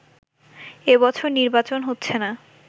এ বছর নির্বাচন হচ্ছে না